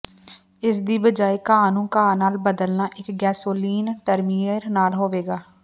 ਇਸ ਦੀ ਬਜਾਇ ਘਾਹ ਨੂੰ ਘਾਹ ਨਾਲ ਬਦਲਣਾ ਇਕ ਗੈਸੋਲੀਨ ਟਰਿਮੇਰ ਨਾਲ ਹੋਵੇਗਾ